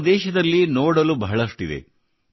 ನಮ್ಮ ದೇಶದಲ್ಲಿ ನೋಡಲು ಬಹಳಷ್ಟಿದೆ